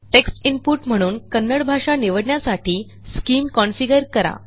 text input म्हणून कन्नड भाषा निवडण्यासाठी स्किम कॉन्फिगर करा